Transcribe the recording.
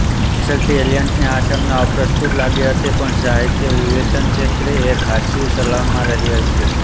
પાછળથી એલિયટને આ સંજ્ઞા અપ્રસ્તુત લાગી હતી પણ સાહિત્યવિવેચનક્ષેત્રે એ ખાસ્સી ચલણમાં રહી છે